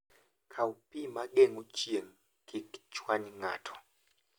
Kaw pi ma geng'o chieng' kik chwany ng'ato.